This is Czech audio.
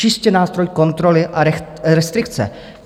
Čistě nástroj kontroly a restrikce.